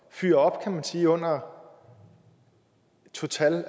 fyre op kan man sige under total